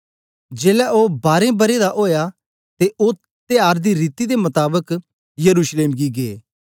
जेलै ओ बारें बरें दा ओया ते ओ त्यार दी रीति दे मताबक यरूशलेम गी गै